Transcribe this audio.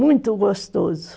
Muito gostoso.